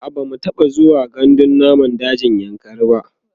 a'a bamu taɓa zuwa gandun namun daji na kainji ba